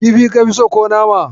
Kifi ka fi so ko nama?